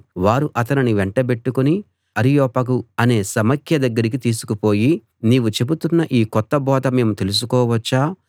వారు అతనిని వెంటబెట్టుకుని అరియోపగు అనే సమాఖ్య దగ్గరికి తీసుకుపోయి నీవు చెబుతున్న ఈ కొత్త బోధ మేము తెలుసుకోవచ్చా